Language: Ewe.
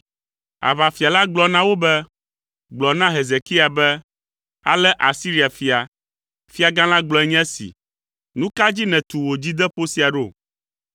Aʋafia la gblɔ na wo be, “Gblɔ na Hezekia be: “ ‘Ale Asiria fia, fiagã la gblɔe nye esi: Nu ka dzi nètu wò dzideƒo sia ɖo?